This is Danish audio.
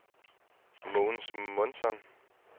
Mogens Månsson